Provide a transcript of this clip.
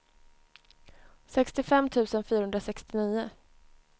sextiofem tusen fyrahundrasextionio